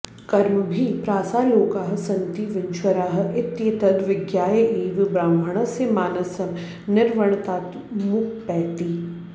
कर्मभिः प्रासालोकाः सन्ति विनश्वराः इत्येतद् विज्ञाय एव ब्राह्मणस्य मानसं निर्विण्णतामुपैति